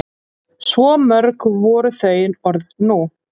Svo mörg voru þau orð nú.